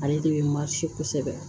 Ale de bɛ kosɛbɛ